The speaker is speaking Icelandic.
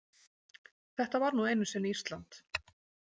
Þetta var nú einu sinni Ísland.